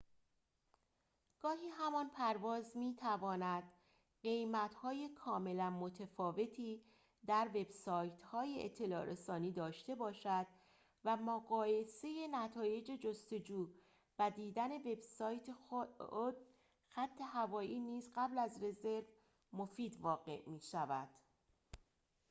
گاهی همان پرواز می‌تواند قیمت‌های کاملاً متفاوتی در وبسایت‌های اطلاع‌رسانی داشته باشد و مقایسه نتایج جستجو و دیدن وبسایت خود خط‌هوایی نیز قبل از رزرو مفید واقع می‌شود